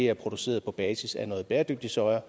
er produceret på basis af noget bæredygtig soja